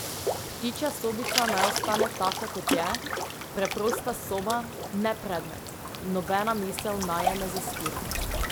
Ptičja sobica naj ostane taka, kot je, preprosta soba, ne predmet, nobena misel naj je ne zastira.